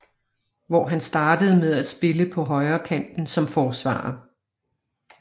Hvor han startede med at spille på højrekanten som forsvarer